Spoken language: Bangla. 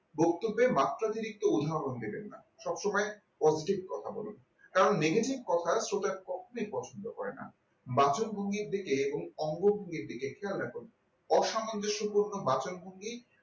বক্তব্যের মাত্রাতিরিক্ত উদাহরণ দেবেন না সবসময় positive কথা বলুন কারণ negative কথা শ্রোতা কখনোই পছন্দ করেনা বাচনভঙ্গির দিকে এবং অঙ্গভঙ্গির দিকে খেয়াল রাখুন অসামঞ্জস্যপূর্ণ বাচনভঙ্গি